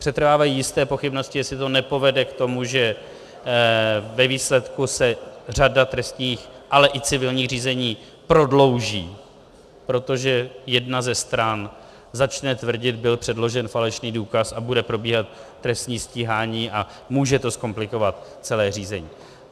Přetrvávají jisté pochybnosti, jestli to nepovede k tomu, že ve výsledku se řada trestních, ale i civilních řízení prodlouží, protože jedna ze stran začne tvrdit "byl předložen falešný důkaz" a bude probíhat trestní stíhání a může to zkomplikovat celé řízení.